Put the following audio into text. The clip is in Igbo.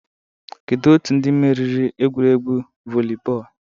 Kedu otu ndị meriri egwuregwu volleyball?